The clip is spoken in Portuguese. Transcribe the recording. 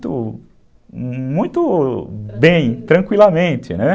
muito, muito bem, tranquilamente, né?